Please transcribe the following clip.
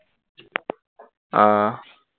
আহ